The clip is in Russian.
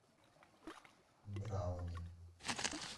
брауни